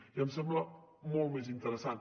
i em sembla molt més interessant